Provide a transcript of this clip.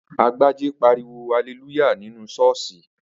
Agbájé pariwo haleluya nínú Sọ́ọ̀sì